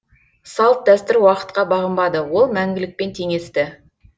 салт дәстүр уақытқа бағынбады ол мәңгілікпен теңесті